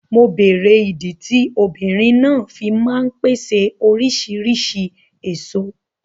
Mo bèrè ìdí tí obìnrin náà fí ń ma ń pèsè oríṣìrísìí èso.